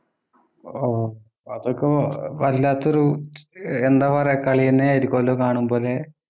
ആഹ് അതൊക്കെ വല്ലാത്തൊരു എന്താ പറയാ കളി തന്നെ ആയിരിക്കുവല്ലോ കാണുമ്പഴ്